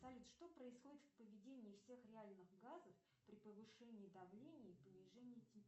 салют что происходит в поведении всех реальных газов при повышении давления и понижении температуры